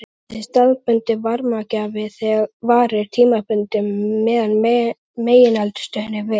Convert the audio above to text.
Þessi staðbundni varmagjafi varir tímabundið meðan megineldstöðin er virk.